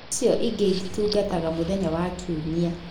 Icio ingĩ itungataga mũthenya wa kiumia